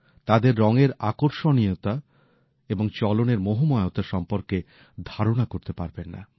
তাদের রংয়ের আকর্ষণীয়তা এবং চলনের মোহময়তা সম্পর্কে ধারণা করতে পারবেন না